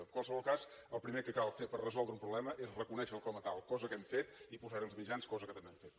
en qualsevol cas el primer que cal fer per resoldre un problema és reconèixer lo com a tal cosa que hem fet i posar hi els mitjans cosa que també hem fet